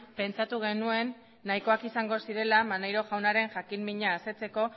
pentsatu genuen nahikoak izango zirela maneiro jaunaren jakinmina asetzeko